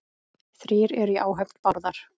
Þrír eru í áhöfn Bárðar.